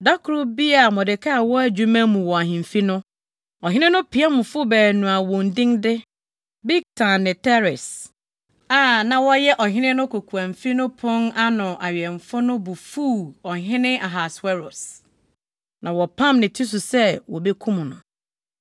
Da koro bi a Mordekai wɔ adwuma mu wɔ ahemfi no, ɔhene no piamfo baanu a wɔn din de Bigtan ne Teres a na wɔyɛ ɔhene no kokoamfi no pon ano awɛmfo no bo fuw ɔhene Ahasweros, na wɔpam ne ti so sɛ wobekum no.